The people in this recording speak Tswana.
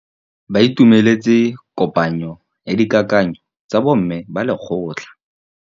Ba itumeletse kôpanyo ya dikakanyô tsa bo mme ba lekgotla.